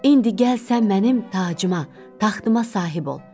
İndi gəl sən mənim tacıma, taxtıma sahib ol.